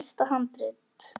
Elsta handrit